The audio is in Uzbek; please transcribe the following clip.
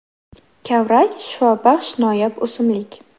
Kavrak – shifobaxsh noyob o‘simlik.